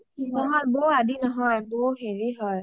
বৌ আদি নহয়, বৌ হেৰি হয়